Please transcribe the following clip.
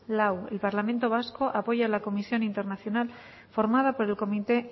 lau el parlamento vasco apoya la comisión internacional formada por el comité